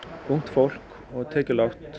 ungt fólk og tekjulágt